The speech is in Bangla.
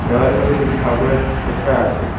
দেওয়ার মধ্যে দুইটা ঠাকুরের পোস্টার আছে।